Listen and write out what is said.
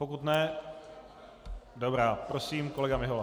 Pokud ne - dobrá, prosím, kolega Mihola.